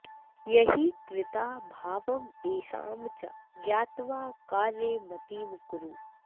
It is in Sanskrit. यैः कृता भावमेषां च ज्ञात्वा कार्ये मतिं कुरु